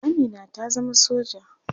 Amina ta zama soja.